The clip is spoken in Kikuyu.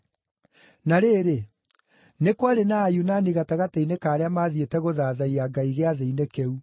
Na rĩrĩ, nĩ kwarĩ na Ayunani gatagatĩ-inĩ ka arĩa maathiĩte gũthathaiya Ngai Gĩathĩ-inĩ kĩu.